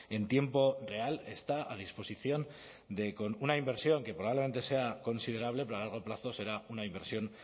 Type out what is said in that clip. en tiempo real está a disposición de con una inversión que probablemente sea considerable pero a largo plazo será una inversión